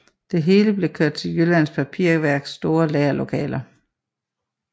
Det hele blev kørt til Jyllands Papirværks store lagerlokaler